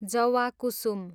जवाकुसुम